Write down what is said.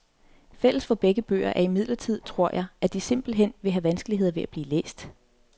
Fælles for begge bøger er imidlertid, tror jeg, at de simpelt hen vil have vanskeligheder ved at blive læst.